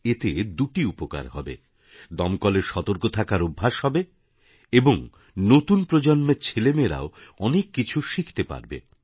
এতে দুটি উপকার হবে দমকলের সতর্ক থাকার অভ্যাস হবে এবং নতুন প্রজন্মের ছেলেমেয়েরাও অনেক কিছু শিখতে পারবে